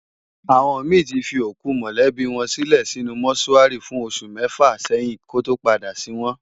Awòn mi ti fi ókú mòlèbi wòn silè sinú mòṣúári fún óṣù mèfá sèyin kòtó pádá sin wòn